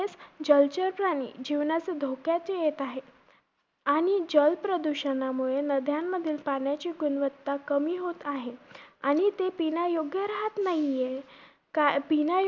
जलचर प्राणी जीवनाच धोक्यात येत आहे. आणि जलप्रदूषणामुळे नद्यांमधील पाण्याची गुणवत्ता कमी होत आहे. आणि ते पिण्यायोग्य राहत नाही आहे. कारण पिण्या